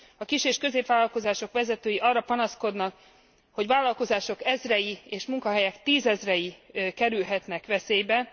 A kis és középvállalkozások vezetői arra panaszkodnak, hogy vállalkozások ezrei és munkahelyek tízezrei kerülhetnek veszélybe.